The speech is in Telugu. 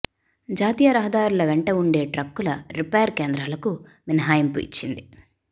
జాతీయ రహదారుల వెంట ఉండే ట్రక్కుల రిపేర్ కేంద్రాలకు మినహాయింపు ఇచ్చింది